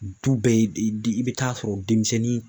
Du bɛɛ i bɛ taa sɔrɔ denmisɛnnin